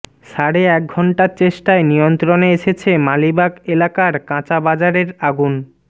সাড়ে এক ঘণ্টার চেষ্টায় নিয়ন্ত্রণে এসেছে মালিবাগ এলাকার কাঁচাবাজারের আগুন